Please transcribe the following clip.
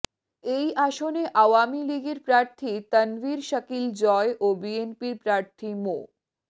এই আসনে আওয়ামী লীগের প্রার্থী তানভীর শাকিল জয় ও বিএনপির প্রার্থী মো